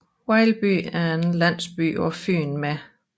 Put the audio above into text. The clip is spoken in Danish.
Vejlby er en landsby på Fyn med